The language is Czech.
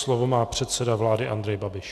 Slovo má předseda vlády Andrej Babiš.